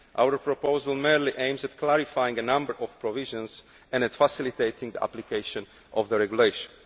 Our proposal merely aims at clarifying a number of provisions and at facilitating the application of the regulation.